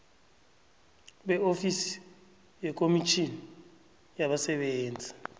beofisi yekomitjhini yabasebenzi